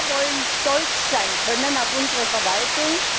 Wir wollen stolz sein können auf unsere Verwaltung!